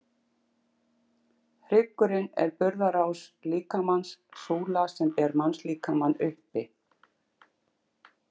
Hryggurinn er burðarás líkamans, súla sem ber mannslíkamann uppi.